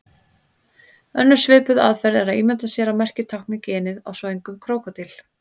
Önnur svipuð aðferð er að ímynda sér að merkið tákni ginið á svöngum krókódíl.